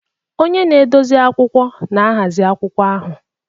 Onye na-edozi akwụkwọ na-ahazi akwụkwọ ahụ.